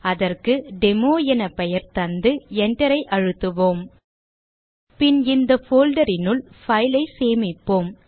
அதற்கு டெமோ என பெயர் தந்து enter ஐ அழுத்துவோம் பின் இந்த folder னுள் file ஐ சேமிப்போம்